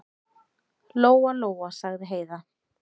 Lóa-Lóa, sagði Heiða.